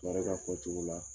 Baara i n'a o fɔ o cogo la.